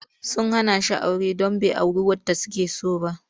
Sun hana shi aure don bai auri wadda suke so ba.